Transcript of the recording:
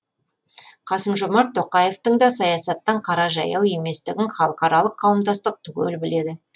қасым жомарт тоқаевтың да саясаттан қара жаяу еместігін халықаралық қауымдастық түгел біледі